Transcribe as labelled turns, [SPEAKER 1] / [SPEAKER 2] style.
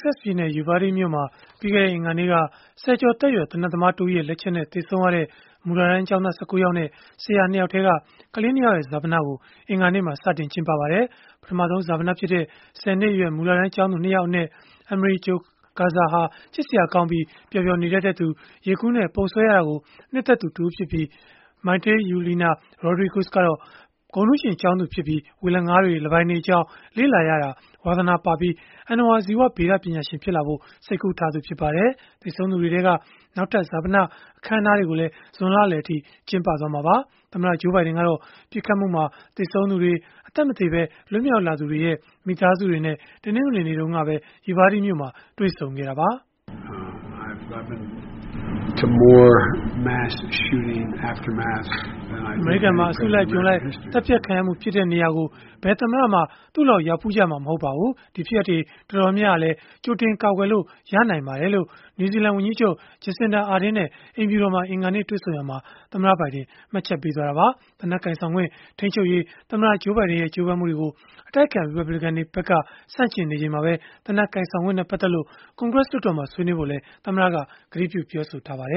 [SPEAKER 1] ဆက်ပြည်နယ် Uvalde မြို့မှာ ပြီးခဲ့တဲ့ အင်္ဂါနေ့က ဆယ်ကျော်သက်ရွယ် သေနတ်သမားတဦးရဲ့ လက်ချက်နဲ့ သေဆုံးခဲ့ရတဲ့ မူလတန်းကျောင်းသား ၁၉ ယောက်နဲ့ ဆရာ ၂ ယောက်ထဲက ကလေး ၂ ယောက်ရဲ့ ဈာပနကို အင်္ဂါနေ့မှာ စတင်ကျင်းပပါတယ်။ ပထမဆုံး ဈာပနဖြစ်တဲ့ ၁၀ နှစ်အရွယ် မူလတန်းကျောင်းသူ ၂ ယောက်အနက် Amerie Jo Garza ဟာ ချစ်စရာကောင်းပြီး ပျော်ပျော်နေတတ်သူ၊ ရေကူးနဲ့ ပုံဆွဲရတာကို နှစ်သက်သူဖြစ်ပြီး၊ Maite Yuleana Rodriguez ကတော့ ဂုဏ်ထူးရှင်ကျောင်းသူဖြစ်ပြီး ဝေလငါးတွေ၊ လင်းပိုင်တွေအကြောင်း လေ့လာရတာ ဝါသနာပါပြီး အဏ္ဏဝါဇီဝဗေဒ ပညာရှင်ဖြစ်လာဖို့ စိတ်ကူးထားသူ ဖြစ်ပါတယ်။ သေဆုံးသူတွေထဲက နောက်ထပ် ဈာပန အခမ်းအနားတွေကိုလည်း ဇွန်လလယ်အထိ ကျင်းပသွားမှာပါ။ သမ္မတ Joe Biden ကတော့ ပစ်ခတ်မှုမှာ သေဆုံးသူတွေ၊ အသက်မသေ လွတ်မြောက်လာသူတွေရဲ့ မိသားစုတွေနဲ့ တနင်္ဂနွေနေ့က Uvalde မြို့မှာ တွေ့ဆုံခဲ့တာပါ။ “
[SPEAKER 2] အမေရိကန်မှာ အစုလိုက်အပြုံလိ
[SPEAKER 1] ုက် သတ်ဖြတ်ခံရမှု ဖြစ်တဲ့နေရာကို ဘယ်သမ္မတမှ သူ့လောက် ရောက်ဖူးကြမှာ မဟုတ်ပါဘူး။ ဒီဖြစ်ရပ်တွေ တော်တော်များများဟာလည်း ကြိုတင်ကာကွယ်လို့ ရနိုင်ပါတယ်။” လို့ နယူးဇီလန်ဝန်ကြီးချုပ် Jacinda Ardern နဲ့ အိမ်ဖြူတော်မှာ အင်္ဂါနေ့ တွေ့ဆုံရာမှာ သမ္မတဘိုင်ဒင် ပြောဆိုခဲ့တာပါ။ သေနတ်ကိုင်ဆောင်ခွင့် ထိန်းချုပ်ရေး သမ္မတ Joe Biden ရဲ့ ကြိုးပမ်းမှုတွေကို အတိုက်အခံ ရီပတ်ဘလစ်ကန်တွေဖက်က ဆန့်ကျင်နေချိန်မှာပဲ သေနတ်ကိုင်ဆောင်ခွင့်နဲ့ ပတ်သက်လို့ ကွန်ဂရက်မှာ ဆွေးနွေးဖို့လည်း သမ္မတက ကတိပြုထားပါတ